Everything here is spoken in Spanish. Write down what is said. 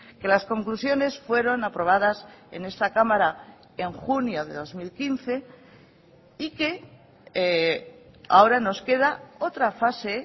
que las conclusiones fueron aprobadas en esta cámara en junio de dos mil quince y que ahora nos queda otra fase